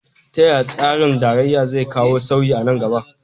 Ta yaya tsarin tarayya zai kawo sauyi a nan gaba?